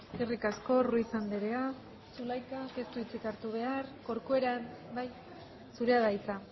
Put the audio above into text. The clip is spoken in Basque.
eskerrik asko ruiz andrea zulaikak ez du hitzik hartuko corcuera bai zurea da hitza